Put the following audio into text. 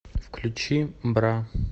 включи бра